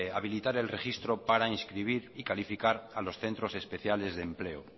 habilitar el registro para inscribir y calificar a los centros especiales de empleo